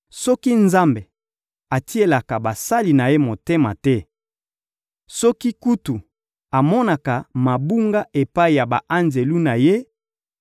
Soki Nzambe atielaka basali na Ye motema te, soki kutu amonaka mabunga epai ya ba-anjelu na Ye,